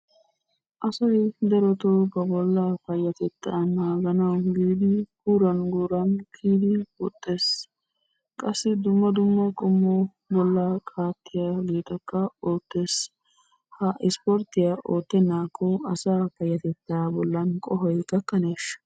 Asay darotoo ba bollaa payyatettaa naaganawu giidi guuran guuran kiyidi woxxes. Qassi dumma dumma qommo bollaa qaattiyageetakka oottes. Ha isporttiya oottennaakko asaa payyatettaa bollan qohoy gakkaneeshsha?